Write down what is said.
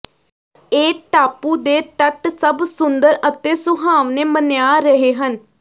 ਇਹ ਟਾਪੂ ਦੇ ਤੱਟ ਸਭ ਸੁੰਦਰ ਅਤੇ ਸੁਹਾਵਣੇ ਮੰਨਿਆ ਰਹੇ ਹਨ